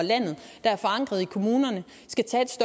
landet der er forankret i kommunerne skal tage